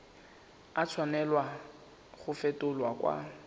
a tshwanela go fetolwa kwa